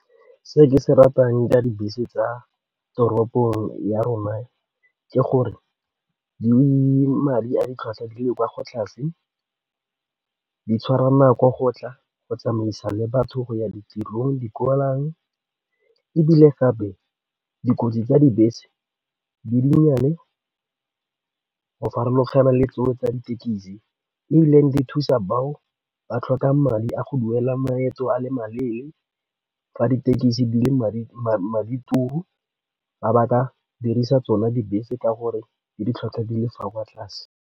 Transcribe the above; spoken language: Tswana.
Se ke se ratang ka dibese tsa toropong ya rona ke gore madi a ditlhwatlhwa tse di kwa go tlase di tshwara nako go tla go tsamaisa le batho go ya ditirong di ebile gape dikotsi tsa dibese di dinnyane go farologana le tseo tsa dithekisi ebile di thusa bao ba tlhoka madi a go duela maeto a le maleele fa ditekisi di le madi turu ba ka dirisa tsona dibese ke gore di ditlhwatlhwa di le kwa tlase.